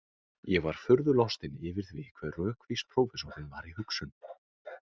Ég var furðu lostinn yfir því hve rökvís prófessorinn var í hugsun.